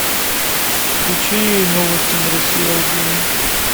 включи новости на россия один